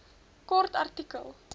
kort artikel